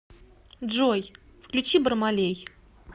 джой включи бармалей